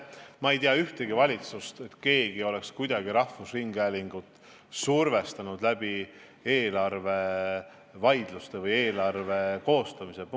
Ma ei tea ühtegi valitsust, kus keegi oleks kuidagi rahvusringhäälingut survestanud eelarvevaidluste või eelarve koostamise kaudu.